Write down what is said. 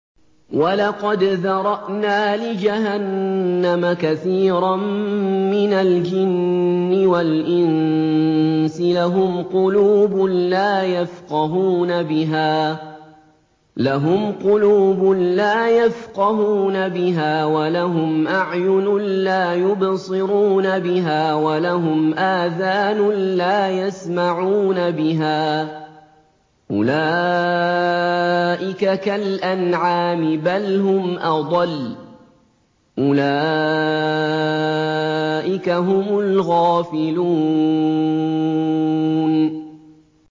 وَلَقَدْ ذَرَأْنَا لِجَهَنَّمَ كَثِيرًا مِّنَ الْجِنِّ وَالْإِنسِ ۖ لَهُمْ قُلُوبٌ لَّا يَفْقَهُونَ بِهَا وَلَهُمْ أَعْيُنٌ لَّا يُبْصِرُونَ بِهَا وَلَهُمْ آذَانٌ لَّا يَسْمَعُونَ بِهَا ۚ أُولَٰئِكَ كَالْأَنْعَامِ بَلْ هُمْ أَضَلُّ ۚ أُولَٰئِكَ هُمُ الْغَافِلُونَ